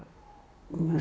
mér